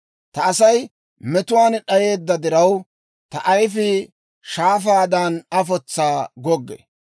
Ta Asay metuwaan d'ayeedda diraw, ta ayifii shaafaadan afotsaa goggee.